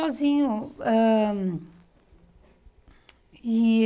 sozinhos ãh e